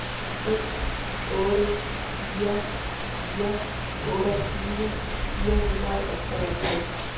seks otte fire fire otteogtyve fire hundrede og treogtres